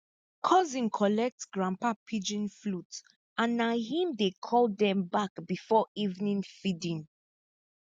cousin collect grandpa pigeon flute and na him dey call dem back before evening feeding